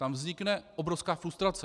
Tam vznikne obrovská frustrace.